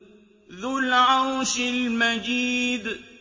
ذُو الْعَرْشِ الْمَجِيدُ